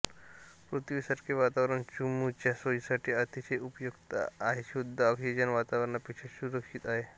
पृथ्वीसारखे वातावरण चमूच्या सोयीसाठी अतिशय उपयुक्त आहे आणि शुद्ध ऑक्सिजन वातावरणापेक्षा सुरक्षित आहे